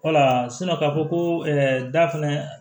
Wala ka fɔ ko da fɛnɛ